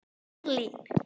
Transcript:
í Berlín.